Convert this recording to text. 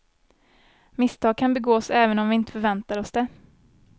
Misstag kan begås även om vi inte förväntar oss det.